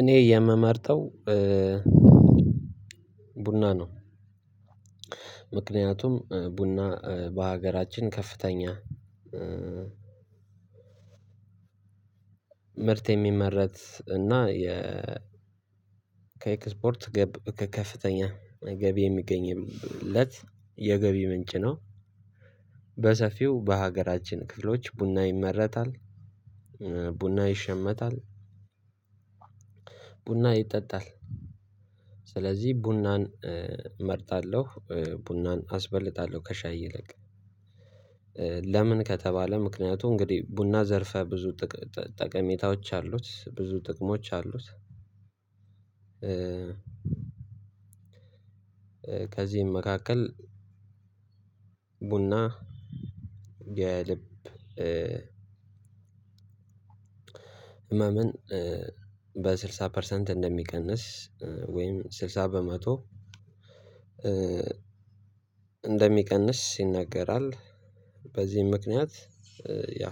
እኔ የምመርጠው ቡና ነው። ምክንያቱም ቡና በሀገራችን ከፍተኛ ምርት የሚመረት እና የ ከኤክስፖርት ገብ ከከፍተኛ ገቢ የሚገኝለት የገቢ ምንጭ ነው። በሰፊው በሀገራችን ክፍሎች ቡና ይመረታል። ቡና ይሸመታል ቡና ይጠጣል። ስለዚህ ቡናን እመርጣለሁ ቡናን አስበልጣለሁ ከሻይ ይልቅ። ለምን ከተባለ ምክንያቱ እንግዲህ ቡና ዘርፈ ብዙ ጠቀሜታዎች አሉት ብዙ ጥቅሞች አሉት። ከዚህም መካከል ቡና የልብ ህመምን በስልሳ ፐርሰንት እንደሚቀንስ ወይም ስልሳ በመቶ እንደሚቀንስ ይነገራል። በዚህም ምክንያት ያ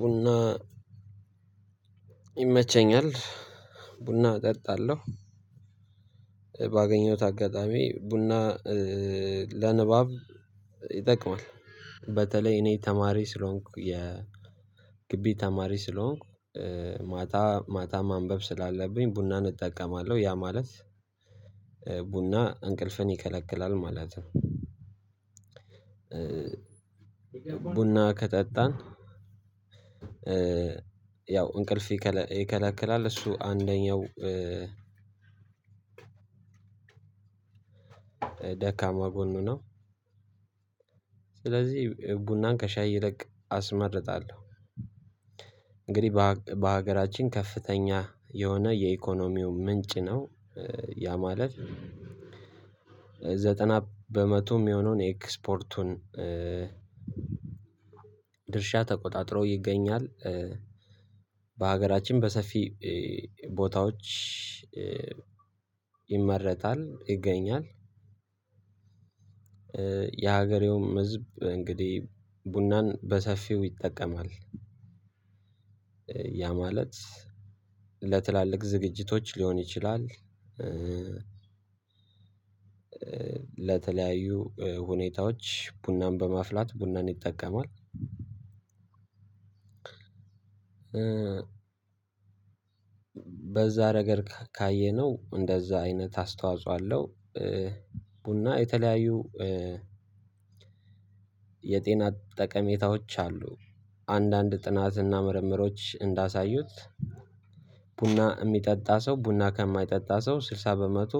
ቡና ይመቸኛል ቡና እጠጣለሁ። ባገኘሁት አጋጣሚ ቡና ለንባብ ይጠቅማል። በተለይ እኔ ተማሪ ስለሆንኩ የ ግቢ ተማሪ ስለሆንኩ ማታ ማታ ማንበብ ስላለብኝ ቡናን እጠቀማለሁ ያ ማለት ቡና እንቅልፍን ይከለክላል ማለት ነው። ቡና ከጠጣን ያው እንቅልፍ ይከለክላል እሱ አንደኛው ደካማ ጎን ነው። ስለዚህ ቡናን ከሻይ ይለቅ አስመርጣለሁ። እንግዲህ በሀገራችን ከፍተኛ የሆነ የኢኮኖሚው ምንጭ ነው። ያ ማለት ዘጠና በመቶ እሚሆነውን ኤክስፖርቱን ድርሻ ተቆጣጥሮ ይገኛል። በሀገራችን በሰፊ ቦታዎች ይመረታል ይገኛል። የሀገሬውም ህዝብ እንግዲህ ቡናን በሰፊው ይጠቀማል። ያ ማለት ለትላልቅ ዝግጅቶች ሊሆን ይችላል። ለተለያዩ ሁኔታዎች ቡናን በማፍላት ቡናን ይጠቀማል። በዛ ነገር ካየነው እንደዛ አይነት አስተዋጽኦ አለው። ቡና የተለያዩ የጤና ጠቀሜታዎች አሉ። አንዳንድ ጥናትና ምርምሮች እንዳሳዩት ቡና እሚጠጣ ሰው ቡና ከማይጠጣ ሰው ስልሳ በመቶ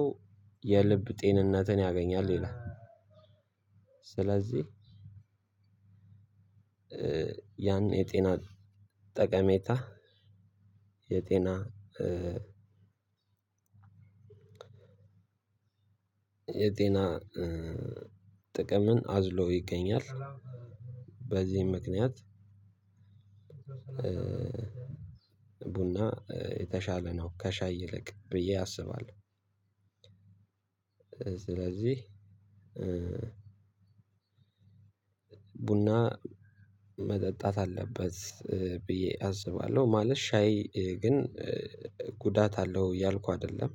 የልብ ጤንነትን ያገኛል ይላል። ስለዚህ ያን የጤና ጠቀሜታ የጤና የጤና ጥቅምን አዝሎ ይገኛል። በዚህም ምክንያት ቡና የተሻለ ነው ከሻይ ይልቅ ብዬ አስባለሁ። ስለዚህ ቡና መጠጣት አለበት ብዬ አስባለሁ። ማለት ሻይ ግን ጉዳት አለው ያልኩ አይደለም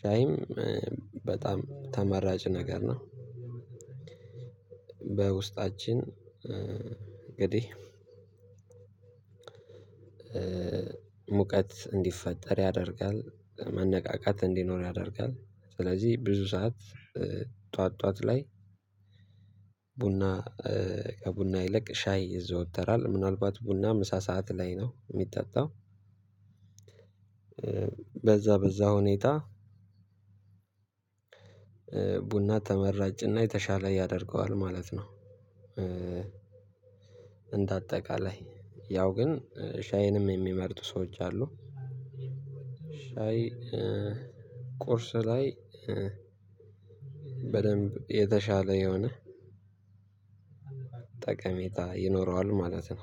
ሻይም በጣም ተመራጭ ነገር ነው። በውስጣችን እንግዲህ ሙቀት እንዲፈጠር ያደርጋል መነቃቃት እንዲኖር ያደርጋል ስለዚህ ብዙ ሰዓት ጠዋት ጠዋት ላይ ቡና ከቡና ይለቅ ሻይ ይዘወተራል ምናልባት ቡና ምሳ ሰዓት ላይ ነው እሚጠጣው በዛ በዛ ሁኔታ ቡና ተመራጭና የተሻለ ያደርገዋል ማለት ነው። እንደ አጠቃላይ ያው ግን ሻይንም እሚመርጡ ሰዎች አሉ። ሻይ ቁርስ ላይ በደንብ የተሻለ የሆነ ጠቀሜታ ይኖረዋል ማለት ነው።